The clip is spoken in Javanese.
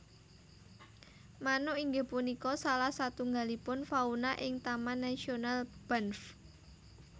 Manuk inggih punika salah satunggalipun fauna ing Taman nasional Banff